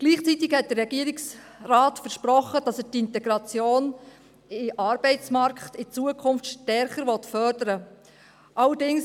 Gleichzeitig versprach der Regierungsrat, in Zukunft die Integration in den Arbeitsmarkt stärker fördern zu wollen.